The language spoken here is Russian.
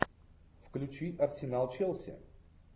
включи арсенал челси